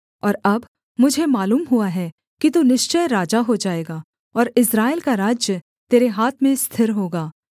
और अब मुझे मालूम हुआ है कि तू निश्चय राजा हो जाएगा और इस्राएल का राज्य तेरे हाथ में स्थिर होगा